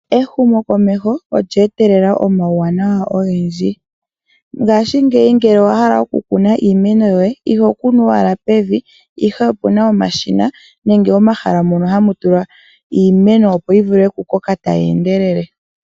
Ehumokomeho olye etelela omauwanawa ogendji . Ngashingeyi ngele owahala okukuna iimeno yoye , iho kunu owala pevi, ihe opuna omashina nenge omahala mono hamu tulwa iimeno opo yivule okukoka tayi endelele.